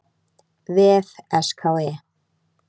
vef SKE.